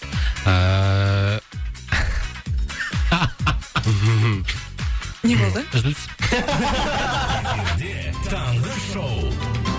ыыы не болды үзіліс эфирде таңғы шоу